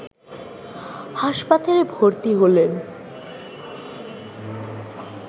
হাসপাতালে ভর্তি হলেন